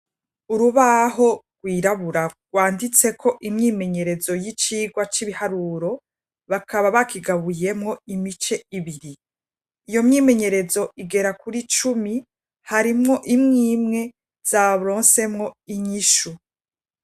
Urubaho rwirabura rwanditseko imyimenyerezo y'icigwa c'ibiharuro bakaba bakigabuyemwo imice ibiri, iyo myimenyerezo igera kuri cumi harimwo imwi imwe zaronsemwo inyishu.